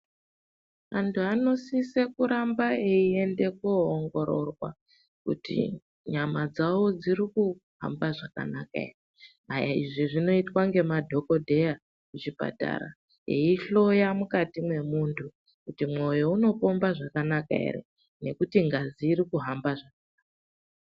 Antu anosise kuramba eyiende kowongororwa kuti nyama dzavo dzirikuhamba zvakanaka here ,izvi zvinoitwa ngemadhokodheya muzvipatara eyihloya mukati memuntu kuti moyo unopomba zvakanaka here ,ngekuti ngazi rirkuhamba.